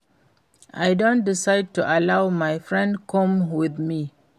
I don decide to allow my friend come with me